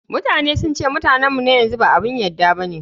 Mutane sun ce Mutane mu na yanzu ba abun yarda bane.